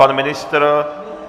Pan ministr?